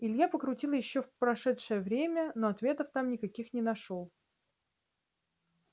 илья покрутил ещё в прошедшее время но ответов там никаких не нашёл